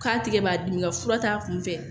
K'a tigɛ b'a dimi nka fura t'a kun fɛ